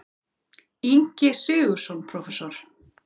Ingi Sigurðsson prófessor.